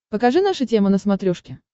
покажи наша тема на смотрешке